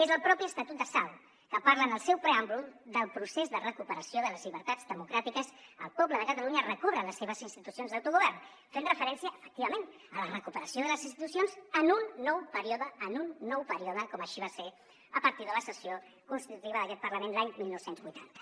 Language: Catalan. és el mateix estatut de sau que parla en el seu preàmbul del procés de recuperació de les llibertats democràtiques que el poble de catalunya recobra les seves institucions d’autogovern fent referència efectivament a la recuperació de les institucions en un nou període en un nou període com així va ser a partir de la sessió constitutiva d’aquest parlament l’any dinou vuitanta